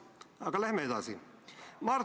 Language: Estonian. Aga lähme edasi!